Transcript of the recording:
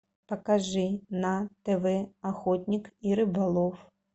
покажи на тв охотник и рыболов